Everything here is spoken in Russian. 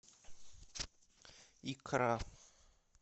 икра